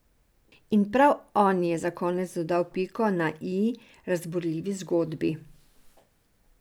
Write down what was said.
In prav on je za konec dodal piko na i razburljivi zgodbi.